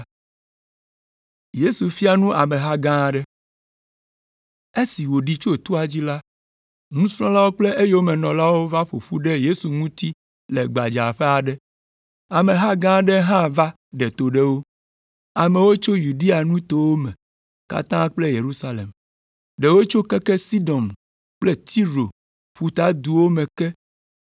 Esi wòɖi tso toa dzi la, nusrɔ̃lawo kple eyomenɔlawo va ƒo ƒu ɖe Yesu ŋuti le gbadzaƒe aɖe. Ameha gã aɖe hã va ɖe to ɖe wo, amewo tso Yudea nutowo me katã kple Yerusalem. Ɖewo tso keke Sidon kple Tiro ƒutaduwo me ke